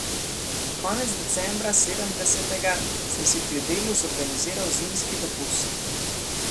Konec decembra sedemdesetega sem si pri Delu zorganiziral zimski dopust.